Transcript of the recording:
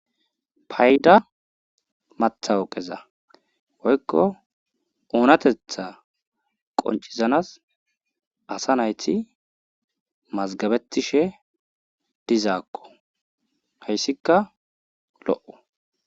payda matawuqeza woykko oonatetha qonccisanas asa nayti mazggabetishe dizakko. hayssikka lo'o.